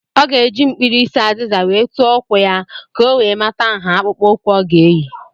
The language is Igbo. Ọ ga-eji mkpirisi azịza wee tụọ ụkwụ ya ka ọ wee mata nha akpụkpụụkwụ ọ ga eyi.